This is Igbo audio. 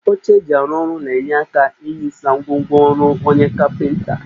Oche eji arụ ọrụ na-enye aka inyisa ngwongwo ọrụ onye kapịnta